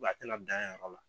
a tɛ na dan yan yɔrɔ la.